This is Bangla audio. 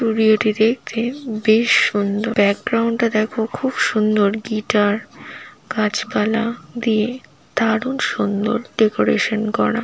ভিডিও - টি দেখতে বেশ সুন্দর। ব্যাকগ্রাউন্ড -টা দেখো খুব সুন্দর গিটার গাছপালা দিয়ে দারুন সুন্দর ডেকোরেশন করা ।